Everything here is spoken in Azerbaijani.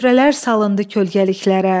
Süfrələr salındı kölgəliklərə.